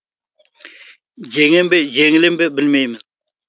жеңем бе жеңілем бе білмеймін